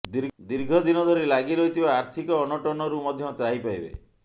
ଦୀର୍ଘଦିନ ଧରି ଲାଗି ରହିଥିବା ଆର୍ଥିକ ଅନଟନରୁ ମଧ୍ୟ ତ୍ରାହି ପାଇବେ